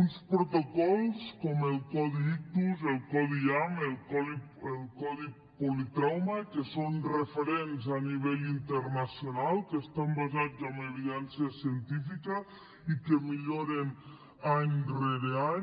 uns protocols com el codi ictus el codi iam el codi politrauma que són referents a nivell internacional que estan basats en evidència científica i que milloren any rere any